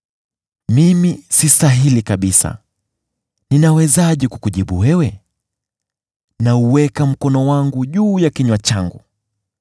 “Mimi sistahili kabisa: ninawezaje kukujibu wewe? Nauweka mkono wangu juu ya kinywa changu.